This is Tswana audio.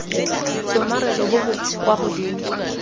tshomarelo bo bo kwa godimo